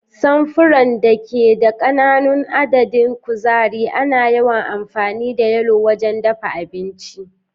Samfuran da ke da ƙananan adadin kuzari, ana yawan amfani da yalo wajen dafa abinci.